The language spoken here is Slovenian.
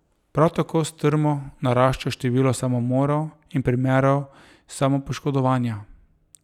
Prav tako strmo narašča število samomorov in primerov samopoškodovanja.